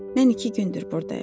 Mən iki gündür burdayam.